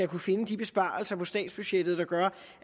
kunne finde de besparelser på statsbudgettet der gør